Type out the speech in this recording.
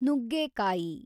ನುಗ್ಗೇಕಾಯಿ